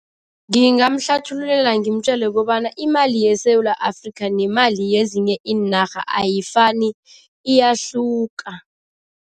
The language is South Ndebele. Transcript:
Ngingmhlathululela ngimjele kobana imali yeSewula Afrika nemali yezinye iinarha ayifani, iyahluka.